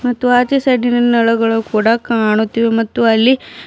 ಮತ್ತು ಆಚೆ ಸೈಡಿ ನಲ್ಲಿ ನಳಗಳು ಕೂಡ ಕಾಣುತ್ತಿವೆ ಮತ್ತು ಅಲ್ಲಿ --